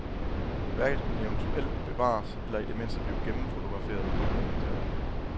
Værket kunne eventuelt bevares eller i det mindste blive gennemfotograferet og dokumenteret.